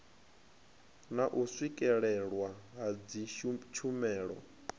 na u swikelelwa ha dzitshumelo